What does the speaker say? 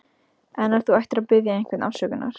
En ef þú ættir að biðja einhvern afsökunar?